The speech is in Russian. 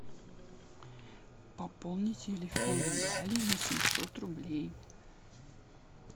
пополнить телефон гали на семьсот рублей